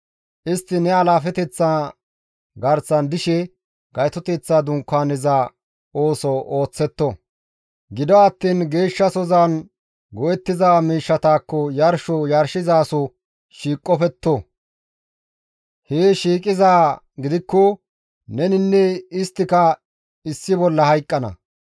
Istti ne alaafeteththa garsan dishe Gaytoteththa Dunkaaneza ooso ooththetto; gido attiin geeshshasozan go7ettiza miishshatakko yarsho yarshizaso shiiqopetto; hee shiiqizaa gidikko neninne isttika issi bolla hayqqana.